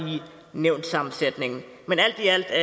nævnssammensætningen men alt i alt er